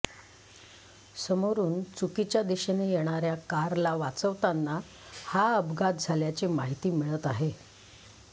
समोरून चुकीच्या दिशेने येणाऱ्या कारला वाचवताना हा अपघात झाल्याची माहिती मिळत आहे